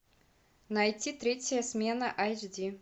найти третья смена айч ди